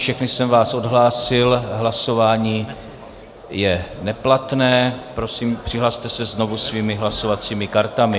Všechny jsem vás odhlásil, hlasování je neplatné, prosím, přihlaste se znovu svými hlasovacími kartami.